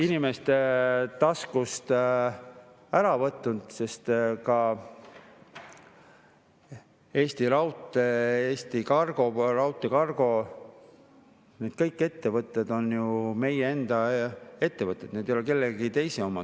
… inimeste taskust ära võtnud, sest ka Eesti Raudtee, Cargo – need ettevõtted on ju meie enda ettevõtted, need ei ole kellegi teise omad.